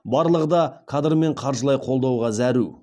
барлығы да кадр мен қаржылай қолдауға зәру